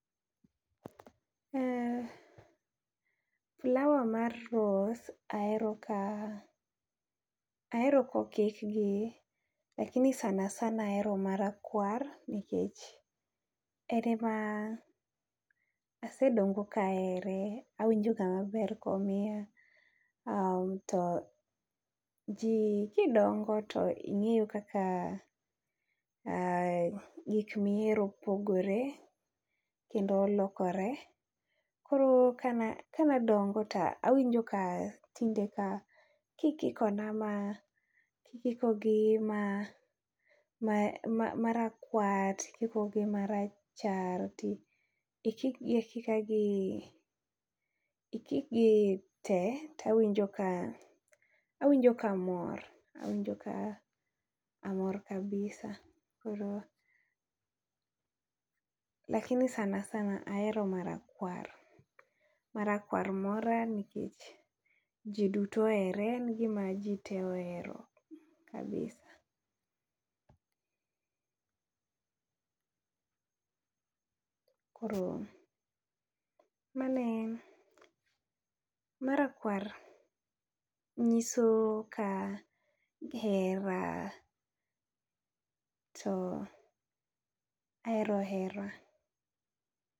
E flower mar rose ahero ka hero okik gi lakini sanasana ahero ma rakwar nikech en ema asedongo ka ahere awinjo ga ma ber ka omiya to ji ka idongo to ingeyo kaka gi chunyi pogore kendo lokore koro ka ne adongo to awinjo ka tinde ikiko na ma ikiko gi ma rakwar to ikiko gi ma rachar to ikik gi akika ikik gi te to awinjo ka amor kabisa koro lakini sanansaa ahero ma rakwar. Ma rakwar koro nikech ji te ohere en gi ma ji tee ohero kabisa. Koro mano e en . Ma rakwar gi ngiso ka hera to ahero hera.